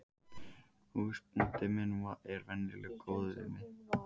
Húsbóndi minn er venjulega góður við mig.